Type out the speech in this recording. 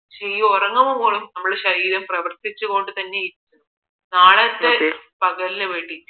പക്ഷേ ഈ ഉറങ്ങുമ്പോഴും നമ്മുടെ ശരീരം പ്രവൃത്തിച്ചു കൊണ്ടേയിരിക്കുകയാണ് നാളത്തെ പകലിന് വേണ്ടിയിട്ട്